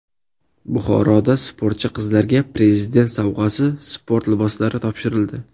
Buxoroda sportchi qizlarga Prezident sovg‘asi sport liboslari topshirildi.